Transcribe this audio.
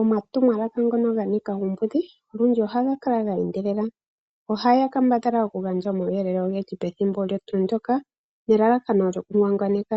Omatumwalaka ngono ga nika uumbudhi olundji ohaga kala ge endelela. Ohaya kambadhala okugandja omawuyelele ogendji pethimbo limwe nelalakano lyokungwangwaneka.